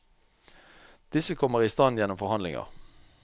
Disse kommer i stand gjennom forhandlinger.